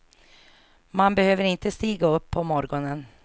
Man behövde inte stiga upp på morgonen.